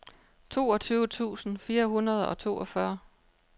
toogtyve tusind fire hundrede og toogfyrre